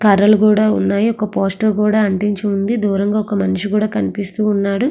కర్రలు కూడా ఉన్నాయి ఒక పోస్టర్ కూడా అంటించి ఉంది నలుగురు మనుషులు కూడా కనిపిస్తున్నారు.